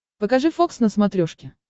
покажи фокс на смотрешке